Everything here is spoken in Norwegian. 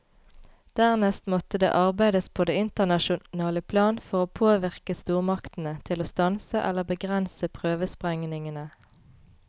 Dernest måtte det arbeides på det internasjonale plan for å påvirke stormaktene til å stanse eller begrense prøvesprengningene.